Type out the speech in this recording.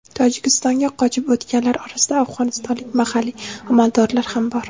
Tojikistonga qochib o‘tganlar orasida afg‘onistonlik mahalliy amaldorlar ham bor.